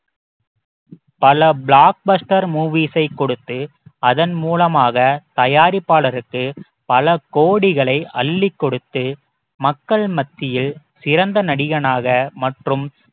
பல blockbuster movies ஐ கொடுத்து அதன் மூலமாக தயாரிப்பாளருக்கு பல கோடிகளை அள்ளிக் கொடுத்து மக்கள் மத்தியில் சிறந்த நடிகனாக மற்றும்